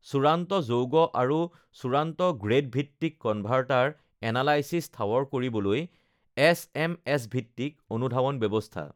চূড়ান্ত যৌগ আৰু চূড়ান্ত গ্ৰেডভিত্তিক কনভাৰ্টাৰ এনালাইছিছ ঠাৱৰ কৰিবলৈ এছএমএছ ভিত্তিক অনুধাৱন ব্যৱস্থা